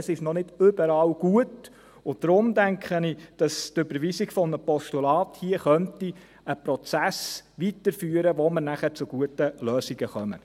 Es ist noch nicht überall gut, und darum denke ich, dass die Überweisung eines Postulats hier einen Prozess weiterführen könnte, durch den man nachher zu guten Lösungen käme.